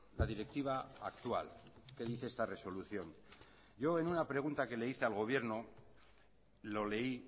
la directiva actual que dice esta resolución yo en una pregunta que le hice al gobierno lo leí